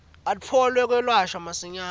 atfole kwelashwa masinyane